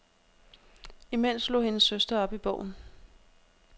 Imens slog hendes søster op i bogen.